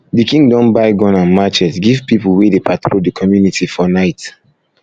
di king don buy gun um and matchet give pipu wey dey patrol di community for night